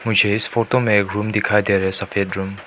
मुझे इस फोटो में एक रूम दिखाई दे रहा है सफेद रूम --